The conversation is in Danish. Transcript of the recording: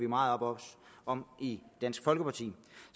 meget op om i dansk folkeparti